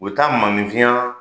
U bɛ taa maanifinya